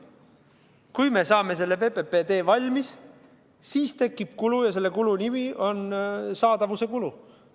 Kui me saame PPP raames tee valmis, siis tekib kulu ja selle kulu nimi on saadavuse kulu.